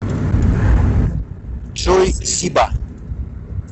джой зиба